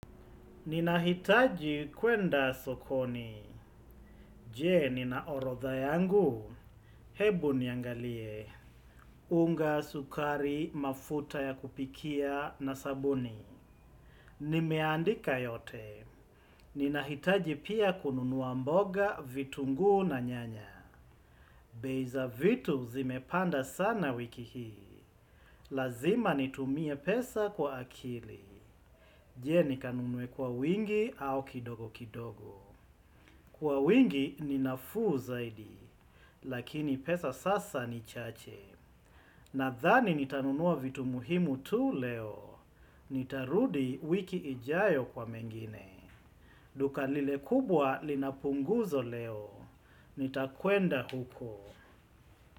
Ninahitaji kwenda sokoni, je? Ninaorodha yangu, hebu niangalie, unga sukari mafuta ya kupikia na sabuni, nimeandika yote, ninahitaji pia kununuwa mboga vitunguu na nyanya, bei za vitu zimepanda sana wiki hii, lazima nitumie pesa kwa akili, je nikanunue kwa wingi au kidogo kidogo. Kwa wingi ni nafuu zaidi, lakini pesa sasa ni chache. Nadhani nitanunuwa vitu muhimu tu leo. Nitarudi wiki ijayo kwa mengine. Duka lile kubwa linapunguzo leo. Nitakwenda huko.